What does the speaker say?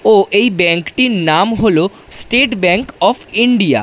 ও এই ব্যাঙ্ক টির নাম হলো স্টেট ব্যাঙ্ক অফ ইন্ডিয়া ।